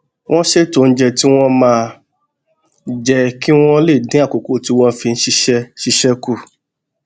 wón ṣètò oúnjẹ tí wón máa jẹ kí wón lè dín àkókò tí wón fi ń ṣiṣé ṣiṣé kù